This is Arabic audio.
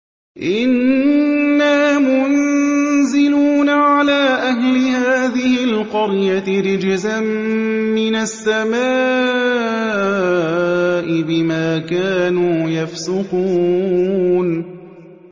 إِنَّا مُنزِلُونَ عَلَىٰ أَهْلِ هَٰذِهِ الْقَرْيَةِ رِجْزًا مِّنَ السَّمَاءِ بِمَا كَانُوا يَفْسُقُونَ